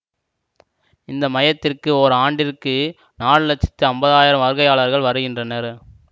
இந்த மையத்திற்கு ஓர் ஆண்டிற்கு நாலு லட்சத்தி ஐம்பது ஆயிரம் வருகையாளர்கள் வருகின்றனர்